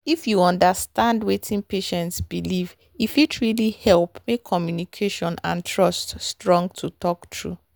if you understand wetin patient believe e fit really help make communication and trust strong to talk true.